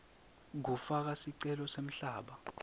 kufaka sicelo semhlaba